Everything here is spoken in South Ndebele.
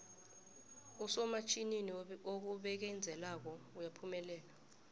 usomatjhinini obekezelako uyaphumelela